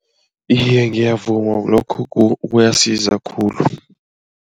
Iye, ngiyavuma, lokho kuyasiza khulu.